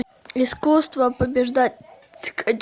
искусство побеждать